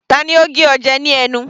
Tani ó gé ọ jẹ ní ẹnu?